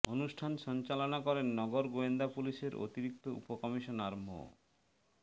অনুষ্ঠান সঞ্চালনা করেন নগর গোয়েন্দা পুলিশের অতিরিক্ত উপ কমিশনার মো